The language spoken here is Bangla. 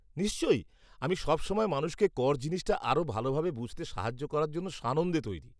নিশ্চয়ই, আমি সবসময় মানুষকে কর জিনিসটা আরও ভালভাবে বুঝতে সাহায্য করার জন্য সানন্দে তৈরি।